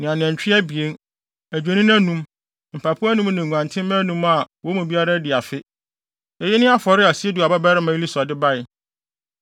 ne anantwi abien, adwennini anum, mpapo anum ne nguantenmma anum a wɔn mu biara adi afe. Eyi ne afɔre a Sedeur babarima Elisur de bae.